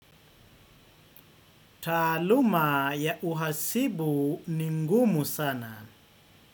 Taaluma ya uhasibu ningumu sana.